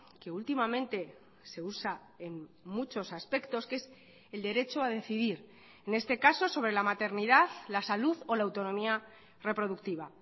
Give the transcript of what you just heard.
que últimamente se usa en muchos aspectos que es el derecho a decidir en este caso sobre la maternidad la salud o la autonomía reproductiva